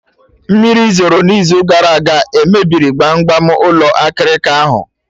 Mmiri zoro na izu gara aga emebiri gbam gbam ụlọ akịrịka ahụ?